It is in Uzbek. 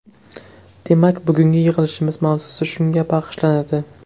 Demak, bugungi yig‘ilishimiz mavzusi shunga bag‘ishlanadi.